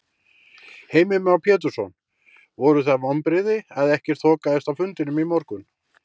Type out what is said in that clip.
Heimir Már Pétursson: Voru það vonbrigði að ekkert þokaðist á fundinum í morgun?